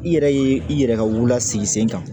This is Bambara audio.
I yɛrɛ ye i yɛrɛ ka wulu la sigi sen kan